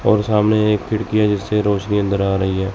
और सामने एक खिड़की है जिसे रोशनी अंदर आ रही है।